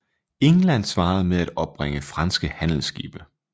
England svarede med at opbringe franske handelsskibe